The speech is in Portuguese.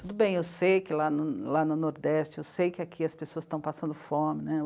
Tudo bem, eu sei que lá no, lá no Nordeste, eu sei que aqui as pessoas estão passando fome né.